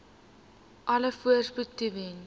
alle voorspoed toewens